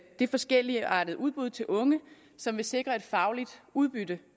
det forskelligartede udbud til unge som vil sikre et fagligt udbytte